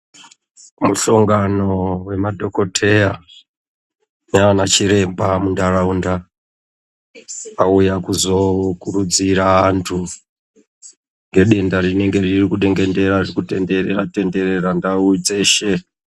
Mushongano vemadhokoteya nana chiremba mutaraunda. Auya kuzourudzira antu ngedenda rinenge riri kudengendera kutenderera- tenderera ndau dzeshe.